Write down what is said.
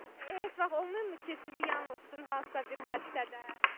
Heç vaxt olmayıbmı ki, sizi yanıltısın hansısa bir hadisədə?